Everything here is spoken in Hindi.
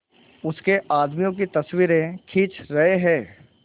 उसके आदमियों की तस्वीरें खींच रहे हैं